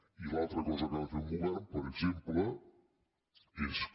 i l’altra cosa que ha de fer un govern per exemple és que